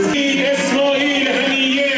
Həmidə, İsrail!